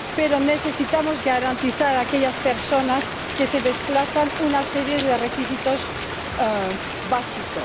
Pero necesitamos garantizar a aquellas personas que se desplazan una serie de requisitos básicos.